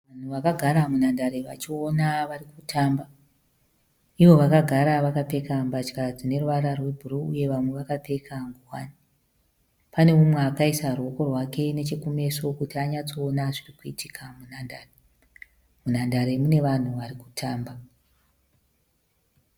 Vanhu vakagara munhandare vachiona vari kutamba. Ivo vakagara vakapfeka mbatya dzine ruvara rwebhuruu uye vamwe vakapfeka ngowani. Pane umwe akaisa ruoko rwake nechekumeso kuti anyatsoona zviri kuitika munhandare. Munhandare mune vanhu vari kutamba.